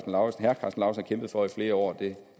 lauritzen har kæmpet for i flere år